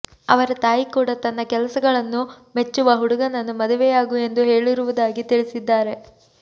ಅವರ ತಾಯಿ ಕೂಡ ತನ್ನ ಕೆಲಸಗಳನ್ನು ಮೆಚ್ಚುವ ಹುಡುಗನ್ನು ಮದುವೆಯಾಗು ಎಂದು ಹೇಳಿರುದಾಗಿ ತಿಳಿಸಿದ್ದಾರೆ